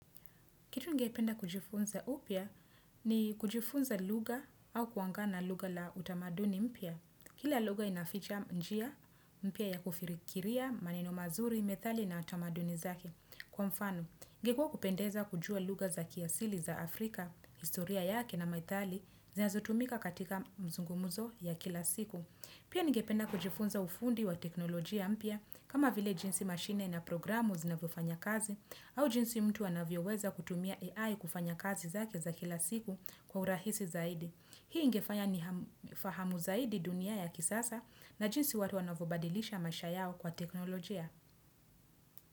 Kitu ningependa kujifunza upya ni kujifunza lugha au kuangaa na lugha la utamaduni mpya. Kila lugha inaficha njia, mpya ya kufirikiria, maneno mazuri, methali na utamaduni zaki. Kwa mfano, ingekuwa kupendeza kujua lugha za kiasili za Afrika, historia yake na methali, zinazo tumika katika mzungumuzo ya kila siku. Pia ningependa kujifunza ufundi wa teknolojia mpya kama vile jinsi mashine na programu zinavyofanya kazi au jinsi mtu anavyo weza kutumia AI kufanya kazi zake za kila siku kwa urahisi zaidi. Hii ingefanya ni fahamu zaidi dunia ya kisasa na jinsi watu anavobadilisha maisha yao kwa teknolojia.